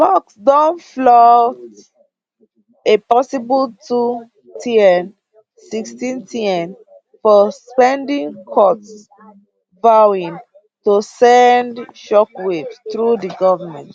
musk don float a possible 2tn 16tn for spending cuts vowing to send shockwaves through di govment